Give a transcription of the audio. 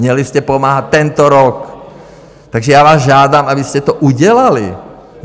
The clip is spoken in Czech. Měli jste pomáhat tento rok, takže já vás žádám, abyste to udělali.